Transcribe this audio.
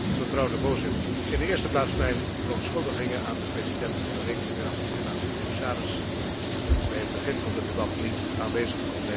Voorzitter, in de eerste plaats mijn verontschuldigingen aan de president van de Rekenkamer en aan de commissaris, dat ik bij het begin van het debat niet aanwezig kon zijn.